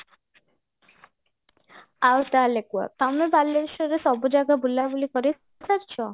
ଆଉ ତାହେଲେ କୁହ ତମେ ବାଲେଶ୍ଵରରେ ସବୁ ଜାଗା ବୁଲା ବୁଲି କରିସାରିଚ